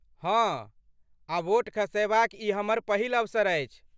हँ, आ वोट खसयबाक ई हमर पहिल अवसर अछि।